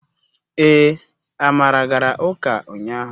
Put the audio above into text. Ee, amara gara uka unyahu